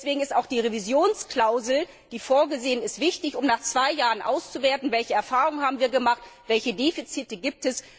Deswegen ist auch die Revisionsklausel, die vorgesehen ist, wichtig, um nach zwei Jahren auszuwerten, welche Erfahrungen wir gemacht haben, welche Defizite es gibt.